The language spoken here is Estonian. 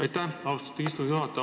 Aitäh, austatud istungi juhataja!